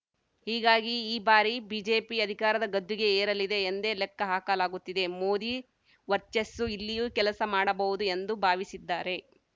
ಹೀಗಾಗಿ ಈ ಬಾರಿ ಬಿಜೆಪಿ ಅಧಿಕಾರದ ಗದ್ದುಗೆ ಏರಲಿದೆ ಎಂದೇ ಲೆಕ್ಕ ಹಾಕಲಾಗುತ್ತಿದೆ ಮೋದಿ ವರ್ಚಸ್ಸು ಇಲ್ಲಿಯೂ ಕೆಲಸ ಮಾಡಬಹುದು ಎಂದು ಭಾವಿಸಿದ್ದಾರೆ